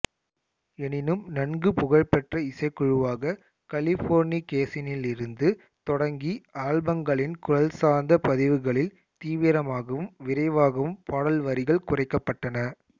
எனினும் நன்கு புகழ்பெற்ற இசைக்குழுவாக கலிபோர்னிகேசனில் இருந்து தொடங்கி ஆல்பங்களின் குரல்சார்ந்த பதிவுகளில் தீவிரமாகவும் விரைவாகவும் பாடல் வரிகள் குறைக்கப்பட்டன